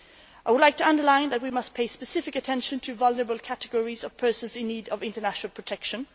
I would like to underline that we must pay specific attention to vulnerable categories of persons in need of international protection.